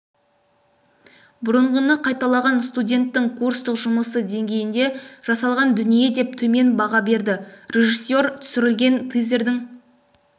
бұрынғыны қайталаған студенттің курстық жұмысы деңгейінде жасалған дүние деп төмен баға берді режиссер түсірілген тизердің